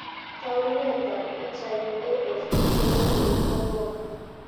Taunetab pichait, AFP Morsi ko ng'o?